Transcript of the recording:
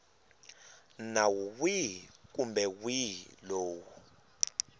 nawu wihi kumbe wihi lowu